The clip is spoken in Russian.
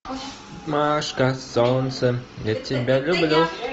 машка солнце я тебя люблю